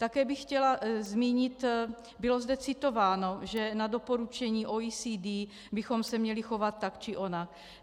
Také bych chtěla zmínit, bylo zde citováno, že na doporučení OECD bychom se měli chovat tak či onak.